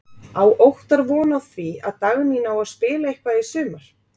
Á Óttar von á því að Dagný nái að spila eitthvað í sumar?